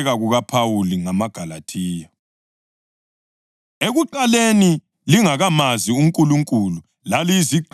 Ekuqaleni, lingakamazi uNkulunkulu laliyizigqili zalabo abangayisibo onkulunkulu ngemvelo.